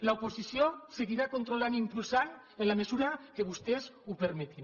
l’oposició seguirà controlant i impulsant en la mesura que vostès ho permetin